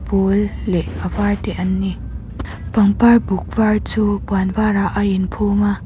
pawl leh a var te an ni pangpar buk var chu puan varah a inphum a.